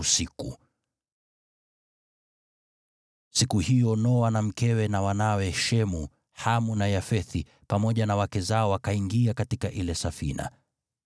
Siku hiyo Noa, na mkewe, na wanawe Shemu, Hamu na Yafethi pamoja na wake zao wakaingia katika ile safina.